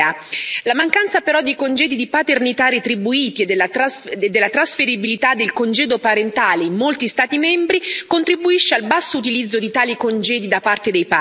La mancanza, però, di congedi di paternità retribuiti e della trasferibilità del congedo parentale in molti Stati membri contribuisce al basso utilizzo di tali congedi da parte dei padri.